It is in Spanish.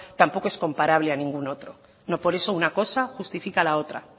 tampoco es comparable a ningún otro no por eso una cosa justifica la otra